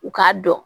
U k'a dɔn